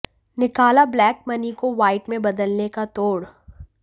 निकाला black money को white में बदलने का तोड़